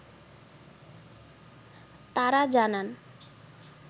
তারা জানান